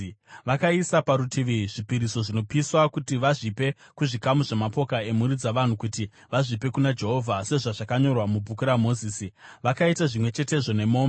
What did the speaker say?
Vakaisa parutivi zvipiriso zvinopiswa kuti vazvipe kuzvikamu zvamapoka emhuri dzavanhu kuti vazvipe kuna Jehovha sezvazvakanyorwa mubhuku raMozisi. Vakaita zvimwe chetezvo nemombe.